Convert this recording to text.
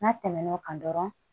N'a tɛmɛn'o kan dɔrɔn